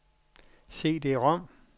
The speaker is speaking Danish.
CD-rom